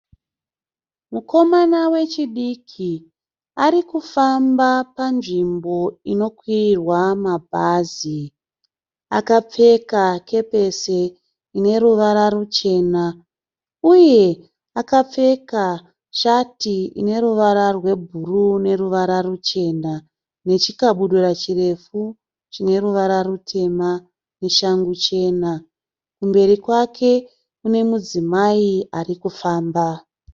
Mukomama wechidiki ari kufamba panzvimbo inokwirirwa mabhazi. Akapfeka kepisi ine ruvara ruchena. Uye akapfeka shati ine ruvara rwebhuruu neruvara ruchena nechikabudura chirefu chine ruvara rutema neshangu chena. Kumberi kwake kune mudzimai ari kufamba.